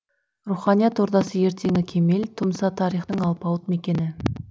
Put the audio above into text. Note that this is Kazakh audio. руханият ордасы ертеңі кемел тұмса тарихтың алпауыт мекені